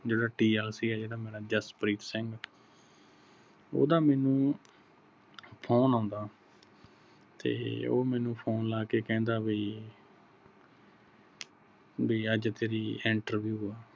ਜਿਹੜਾ TLC ਜਿਹੜਾ ਮੇਰਾ ਜਸਪ੍ਰੀਤ ਸਿੰਘ ਓਹਦਾ ਮੈਨੂੰ phone ਆਉਂਦਾ ਤੇ ਉਹ ਮੈਨੂੰ phone ਲੈ ਕੇ ਕਹਿੰਦਾ ਬਈ ਬਈ ਅੱਜ ਤੇਰੀ interview ਆ